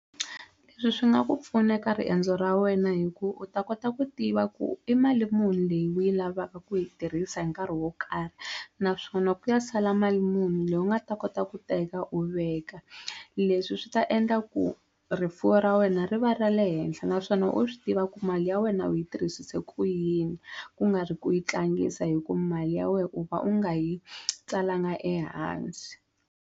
Leswi swi nga ku pfuna eka riendzo ra wena hi ku u ta kota ku tiva ku i mali muni leyi u yi lavaka ku yi tirhisa hi nkarhi wo karhi naswona ku ya sala mali muni leyi u nga ta kota ku teka u veka leswi swi ta endla ku rifuwo ra wena ri va ra le henhla naswona u swi tiva ku mali ya wena u yi tirhisise ku yini ku nga ri ku yi tlangisa hi ku mali ya wehe u va u nga yi tsaliwanga ehansi.